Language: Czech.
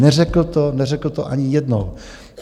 Neřekl to, neřekl to ani jednou.